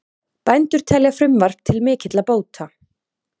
Bændur telja frumvarp til mikilla bóta